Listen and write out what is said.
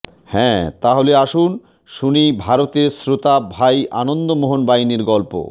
হ্যা তা হলে আসুন শুনি ভারতের শ্রোতা ভাই আনন্দ মোহন বাইনের গল্প